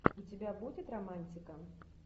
у тебя будет романтика